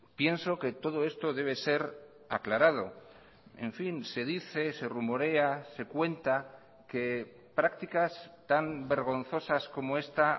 pienso que todo esto debe ser aclarado en fin se dice se rumorea se cuenta que prácticas tan vergonzosas como esta